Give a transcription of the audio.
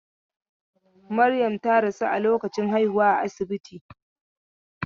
Maryam ta rasu a lokacin haihuwa a asibiti.